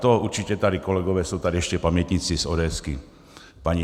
To určitě tady kolegové jsou tady ještě pamětníci z ODS, paní